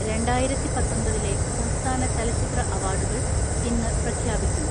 രണ്ടായിരത്തിപത്തൊമ്പതിലെ സംസ്ഥാന ചലച്ചിത്ര അവാർഡുകൾ ഇന്ന് പ്രഖ്യാപിക്കും.